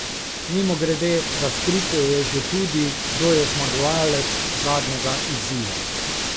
Mimogrede, razkrito je že tudi, kdo je zmagovalec zadnjega izziva.